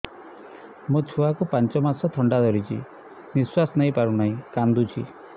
ମୋ ଛୁଆକୁ ପାଞ୍ଚ ମାସ ଥଣ୍ଡା ଧରିଛି ନିଶ୍ୱାସ ନେଇ ପାରୁ ନାହିଁ କାଂଦୁଛି